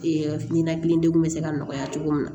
ɲɛnakili degun bɛ se ka nɔgɔya cogo min na